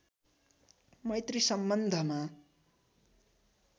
मैत्री सम्बन्धमा